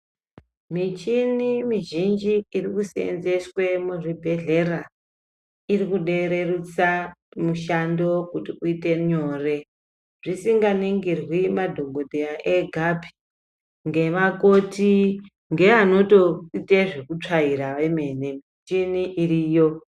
Michini mizhinji iri kuseenzeeswe muzvibhedhlera ,iri kude rerusa mishando kuti uite nyore, zvinganingirwi madhokodheya egapi, ngeakoti ngeanotoite zvekutsvaira vemene ,michini iriyo.